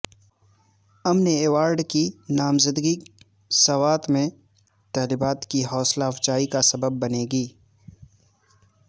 امن ایوارڈ کی نامزدگی سوات میں طالبات کی حوصلہ افزائی کا سبب بنے گی